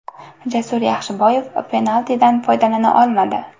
Jasur Yaxshiboyev penaltidan foydalana olmadi.